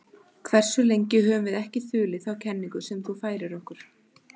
Hversu lengi höfum við ekki þulið þá kenningu sem þú færðir okkur?